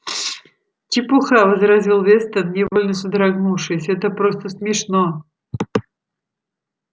чепуха возразил вестон невольно содрогнувшись это просто смешно